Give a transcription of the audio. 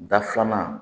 Da filanan